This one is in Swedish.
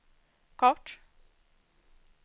kort